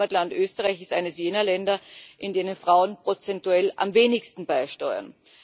Mein Heimatland Österreich ist eines jener Länder, in denen Frauen prozentuell am wenigsten beisteuern.